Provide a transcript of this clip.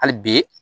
Hali bi